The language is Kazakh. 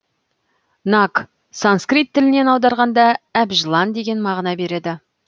наг санскрит тілінен аударғанда әбжылан деген мағына береді